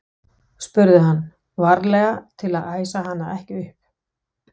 spurði hann, varlega til að æsa hana ekki upp.